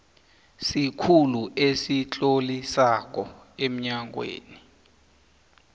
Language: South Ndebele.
sikhulu esitlolisako emnyangweni